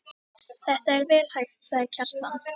Þetta er vel hægt, sagði Kjartan.